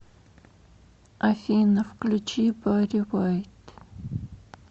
афина включи барри вайт